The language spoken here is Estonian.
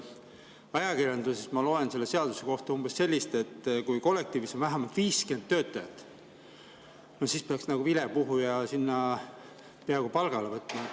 Ajakirjandusest ma loen selle seaduse kohta umbes midagi sellist, et kui kollektiivis on vähemalt 50 töötajat, siis peaks nagu vilepuhuja sinna peaaegu palgale võtma.